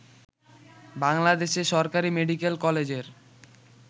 বাংলাদেশে সরকারী মেডিকেল কলেজের